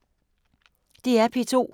DR P2